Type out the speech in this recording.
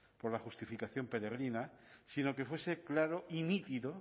por la justificación peregrina sino que fuese claro y nítido